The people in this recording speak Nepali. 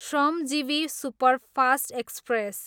Shramjeevi superfast express